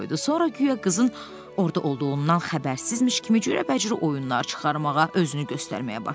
Sonra guya qızın orada olduğundan xəbərsizmiş kimi cürbəcür oyunlar çıxarmağa, özünü göstərməyə başladı.